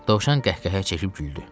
Dovşan qəhqəhə çəkib güldü.